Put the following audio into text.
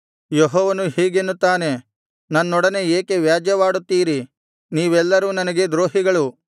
ಯೆಹೋವನು ಹೀಗೆನ್ನುತ್ತಾನೆ ನನ್ನೊಡನೆ ಏಕೆ ವ್ಯಾಜ್ಯವಾಡುತ್ತೀರಿ ನೀವೆಲ್ಲರೂ ನನಗೆ ದ್ರೋಹಿಗಳು